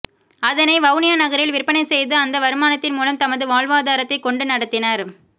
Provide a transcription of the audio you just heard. அதனை வவுனியா நகரில் விற்பனை செய்து அந்த வருமானத்தின் மூலம் தமது வாழ்வாதாரத்தை கொண்டு நடத்தினர்